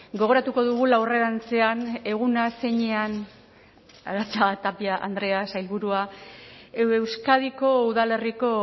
gogoratuko dugula aurrerantzean eguna zeinean arantxa tapia andrea sailburua euskadiko udalerriko